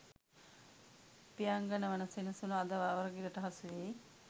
පියංගන වන සෙනසුන අද අවරගිරට හසුවී